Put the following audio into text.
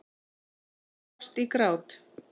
Hún brast í grát.